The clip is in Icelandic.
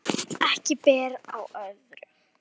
Ekki ber á öðru